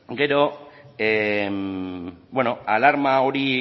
gero alarma hori